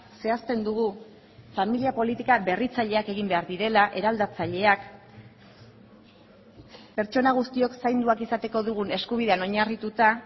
zehazten dugu familia politika berritzaileak egin behar direla eraldatzaileak pertsona guztiok zainduak izateko dugun eskubidean oinarrituta